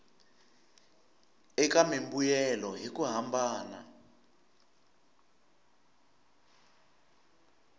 eka mimbuyelo hi ku hambana